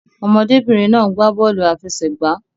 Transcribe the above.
Ọmọdé-bìnrin náà ń gbà bọ́ọ̀lù àfẹsẹ̀gbá.